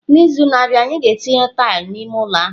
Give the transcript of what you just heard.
N'izu na-abịa, anyị ga-etinye tile n'ime ụlọ ahụ.